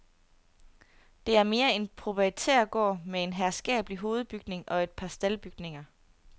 Det er mere en proprietærgård med en herskabelig hovedbygning og et par staldbygninger.